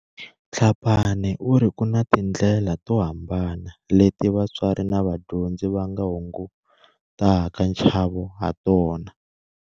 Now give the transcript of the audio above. Tlhapane u ri ku na tindlela to hambana leti vatswari na vadyondzi va nga hungutaka nchavo hatona.